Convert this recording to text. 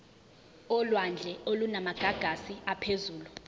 olwandle olunamagagasi aphezulu